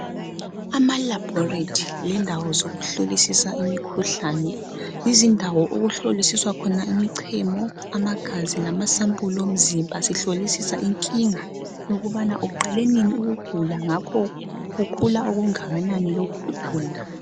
Amalabhorethi lendawo zokuhlolisisa imikhuhlane. Yizindawo okuhloliswa khona imichemo, amagazi lama sampuli omzimba sihlolisisa inkinga yokubana uqale nini ukugula ngakho kukhula okungakanani lokho kugula.